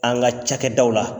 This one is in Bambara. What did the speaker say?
An ka cakɛdaw la